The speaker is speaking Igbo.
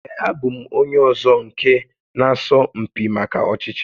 Ee, abụ m onye ọzọ nke na asọ mpi maka ọchịchị